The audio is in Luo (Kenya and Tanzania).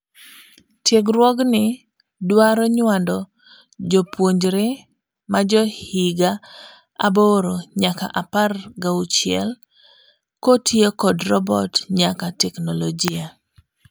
Tiegruogni dwaro nyuando jopuonjre majohiga aboro nyaka apar gauchiel kotiyo kod robot nyaka teknologia.